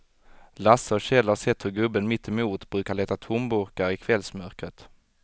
Lasse och Kjell har sett hur gubben mittemot brukar leta tomburkar i kvällsmörkret.